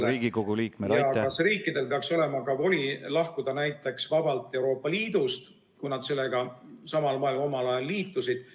... rahvastel peaks olema õigus iseseisvusele ja kas riikidel peaks olema ka voli lahkuda näiteks vabalt Euroopa Liidust, kui nad sellega samal moel omal ajal liitusid.